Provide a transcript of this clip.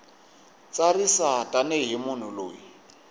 tsarisa tani hi munhu loyi